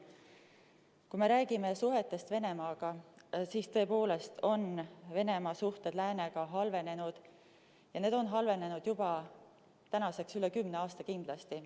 Kui me räägime suhetest Venemaaga, siis tõepoolest on Venemaa suhted Läänega halvenenud ja need on halvenenud tänaseks kindlasti juba üle kümne aasta.